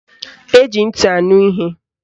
Eji ntị anụ ihe.